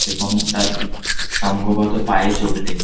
এবং তার সম্ভবত পায়ে চোট লেগে--